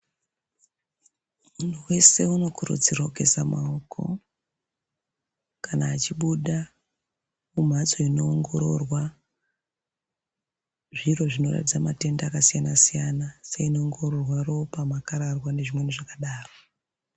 Munhu weshe anokurudzirwe kugeza maoko kana achibuda kumhatso inoo ngororwa zviro zvinoratidza matenda akasiyana -siyana seino ongororwa ropa makararwa nezvimweni zvakadaro.